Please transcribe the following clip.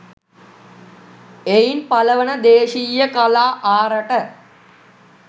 එයින් පලවන දේශීය කලා ආරට